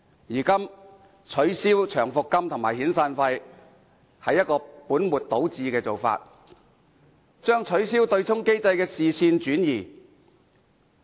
因此，取消長期服務金及遣散費是本末倒置的做法，只是將取消對沖機制的視線轉移。